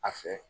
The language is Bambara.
A fɛ